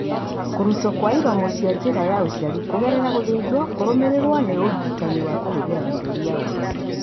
Kũrutwo kwa iromo cia njĩra ya ũciari kũgerera gũthĩnjwo kũrũmĩrĩirwo nĩ ũrigitani wa kũhũthĩra mĩrũri ya ũtheri.